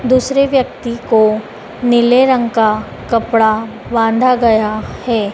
दूसरे व्यक्ति को नीले रंग का कपड़ा बांधा गया है।